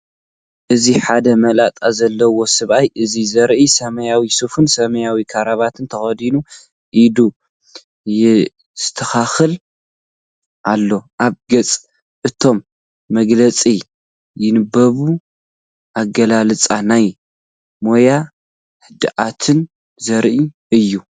እዚ ሓደ መላጥ ዘለዎ ሰብኣይ እዩ ዘርኢ። ሰማያዊ ሱፍን ሰማያዊ ክራቫታን ተኸዲኑ፡ ኢዱ የስተኻኽል ኣሎ። ኣብ ገጹ ዕቱብ መግለጺ ይንበብ። ኣገላልጻኡ ናይ ሞያን ህድኣትን ዘርኢ እዩ።